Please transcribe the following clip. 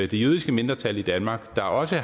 det jødiske mindretal i danmark der også